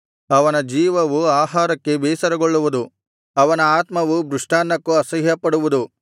ಅವನ ಜೀವವು ಆಹಾರಕ್ಕೆ ಬೇಸರಗೊಳ್ಳುವುದು ಅವನ ಆತ್ಮವು ಮೃಷ್ಟಾನ್ನಕ್ಕೂ ಅಸಹ್ಯಪಡುವುದು